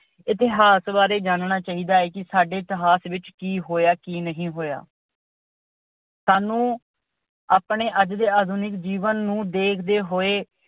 ਇਤਿਹਾਸ ਬਾਰੇ ਜਾਨਣਾ ਚਾਹੀਦਾ ਹੈ ਕਿ ਸਾਡੇ ਇਤਿਹਾਸ ਵਿੱਚ ਕੀ ਹੋਇਆ, ਕੀ ਨਹੀਂ ਹੋਇਆ। ਸਾਨੂੰ ਆਪਣੇ ਅੱਜ ਦੇ ਆਧੁਨਿਕ ਜੀਵਨ ਨੂੰ ਦੇਖਦੇ ਹੋਏ